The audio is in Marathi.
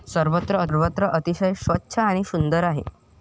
सर्वत्र अतिशय स्वच्छ आणि सुंदर आहे.